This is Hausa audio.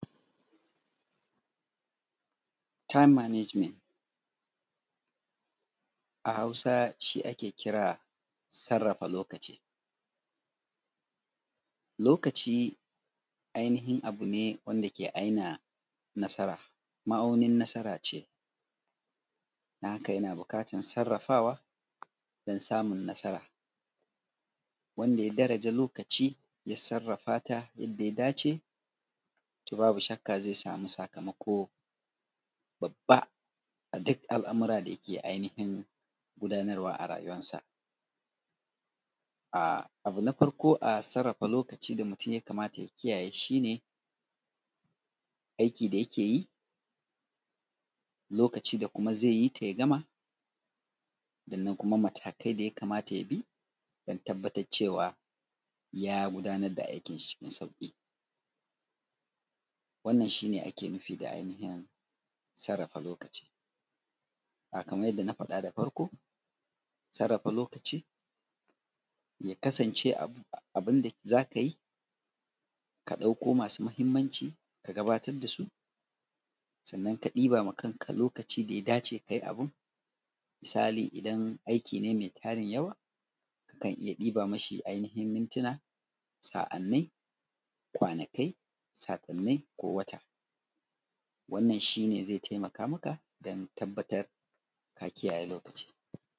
“Time management”, a Hausa shi ake kira sarrafa lokaci. Lokaci, ainahin abu ne wanda ke aina nasara, ma’aunin nasara ce. Don haka, yana buƙatar sarrafawa don samun nasara, wanda ya daraja lokaci, ya sarrafa ta yadda ya dace, to babu shakka ze samu sakamako babba a duk al’amura da yake ainafin gudanarwa a rayuwarsa. A, abu na farko a sarrafa lokaci da mutun ya kamata ya kiyaye shi ne, aiki da yake yi lokacin da kuma ze yi ta ya gama. Sannan kuma, matakai da ya kamata ya bi, don tabbatar cewa ya gudanar da aikin shi cikin sauƙi. Wannan, shi ne ake nufi da ainihin sarrafa lokaci, kamar yadda na faɗa da farko, sarrafa lokaci, ya kasance abu; abin da za ka yi, ka ɗakko masu mahimmanci, ka gabatad da su, sannan ka ɗiba ma kanka lokaci da ya dace ka yi abin. Misali, idan aiki ne me farin yau, zan iya ɗiba mishi ainihinmintina, sa’annai, kwanakai, sakunnai ko wata. Wannan, shi ne zai taimaka maka, dan tabbatar ka kiyaye lokaci.